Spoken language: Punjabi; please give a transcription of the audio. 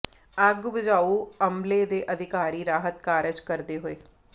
ਅੱਗ ਬੁਝਾਉ ਅਮਲੇ ਦੇ ਅਧਿਕਾਰੀ ਰਾਹਤ ਕਾਰਜ ਕਰਦੇ ਹੋਏ